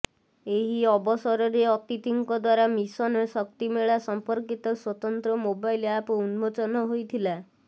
ଏହି ଅବସରରେ ଅତିଥିଙ୍କ ଦ୍ବାରା ମିଶନ ଶକ୍ତି ମେଳା ସମ୍ପର୍କିତ ସ୍ବତନ୍ତ୍ର ମୋବାଇଲ ଆପ ଉନ୍ମୋଚନ ହେଇଥିଲା